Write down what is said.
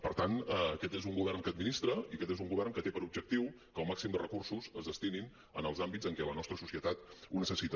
per tant aquest és un govern que administra i aquest és un govern que té per objectiu que el màxim de recursos es destinin als àmbits en què la nostra societat ho necessita